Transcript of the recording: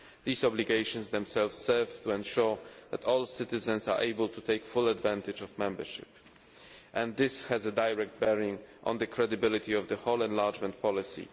These obligations themselves serve to ensure that all citizens are able to take full advantage of membership and this has a direct bearing on the credibility of the whole enlargement policy.